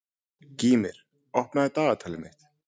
Gýmir, opnaðu dagatalið mitt.